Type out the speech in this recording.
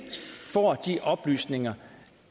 får de oplysninger